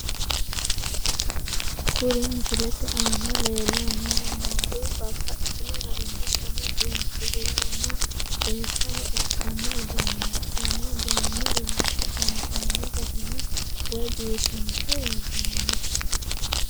Kuri misilete aana leellanno noori babbaxino garinna Dani biinfilehona seesaho ikkanno iduunneeti konne uduunne la'ate injaanno garinni woy biifinse worronniho.